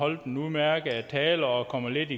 holdt en udmærket tale og kom lidt